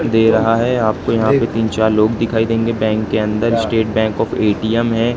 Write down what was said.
दे रहा है। आपके यहां पे तीन-चार लोग दिखाई देंगे बैंक के अंदर। स्टेट बैंक ऑफ़ ए_टी_एम है।